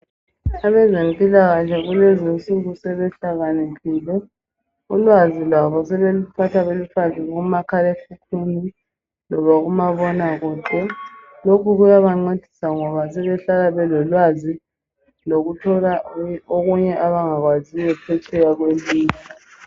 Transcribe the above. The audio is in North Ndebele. Abezempilakahle Kulezinsuku sebehlakaniphile ulwazi lwabo sebeluthatha belufake kumakhalekhukhwini loba kumabonakude lokhu kuyabancedisa ngoba sebehlala belolwazi lokuthola okunye abangakwaziyo phetsheya kwelizwe